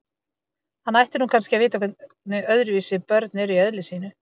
Hann ætti nú kannski að vita hvernig öðruvísi börn eru í eðli sínu.